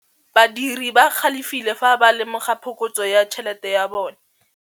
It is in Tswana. Badiri ba galefile fa ba lemoga phokotsô ya tšhelête ya bone.